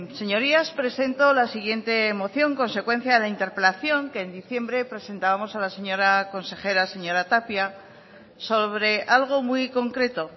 señorías presento la siguiente moción consecuencia de la interpelación que en diciembre presentábamos a la señora consejera señora tapia sobre algo muy concreto